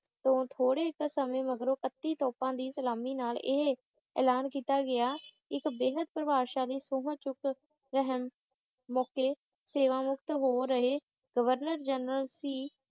ਤੋਂ ਥੋੜੇ ਕ ਸਮੇਂ ਮਗਰੋਂ ਇੱਕਟੀ ਤੋਪਾਂ ਦੀ ਸਲਾਮੀ ਨਾਲ ਇਹ ਐਲਾਨ ਕੀਤਾ ਗਿਆ ਇੱਕ ਵੀਨਤ ਪਰਿਭਾਸ਼ਾ ਦੀ ਸਹੁੰ ਚੱਕ ਅਹਿਮ ਮੌਕੇ ਸੇਵਾ ਮੁਕਤ ਹੋ ਰਹੇ ਗਵਰਨਰ ਜਰਨਲ ਸੀ